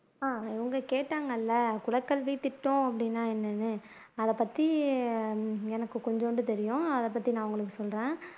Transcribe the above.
உம் அவங்க கேட்டாங்க இல்ல குலக்கல்வித்திட்டம் அப்படின்னா என்னன்னு அதைப்பத்தி எனக்கு கொஞ்சூண்டு தெரியும் அதைப்பத்தி நான் உங்களுக்கு சொல்றேன்